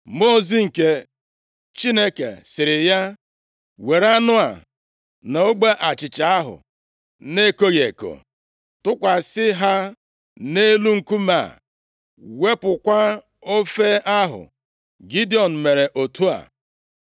Mmụọ ozi nke Chineke sịrị ya, “Were anụ a na ogbe achịcha ahụ na-ekoghị eko, tụkwasị ha nʼelu nkume a, wụpụkwa ofe ahụ.” Gidiọn mere otu a.